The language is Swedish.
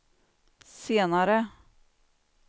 senare